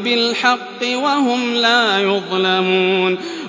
بِالْحَقِّ وَهُمْ لَا يُظْلَمُونَ